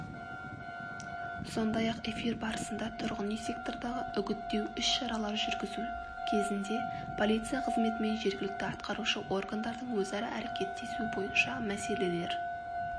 сондай ақ эфир барысында тұрғын үй сектордағы үгіттеу ісшаралар жүргізу кезінде полиция қызметі мен жергілікті атқарушы органдардың өзара әрекеттесу бойынша мәселелер